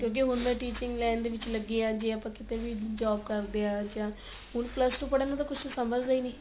ਕਿਉ ਕਿ ਹੁਣ ਮੈਂ teaching line ਦੇ ਵਿੱਚ ਲੱਗੀ ਆ ਜੇ ਆਪਾ ਕਿੱਥੇ ਵੀ job ਕਰਦੇ ਆ ਜਾਂ ਹੁਣ plus two ਪੜੇ ਨੂੰ ਤਾਂ ਕੁੱਝ ਸਮਜਦੇ ਈ ਨੀ